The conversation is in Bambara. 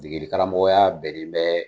Degeden karamɔkɔ ya bɛnnɛ bɛɛ.